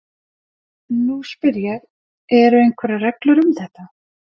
Nú spyr ég- eru einhverjar reglur um þetta?